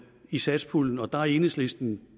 i satspuljen og der er enhedslisten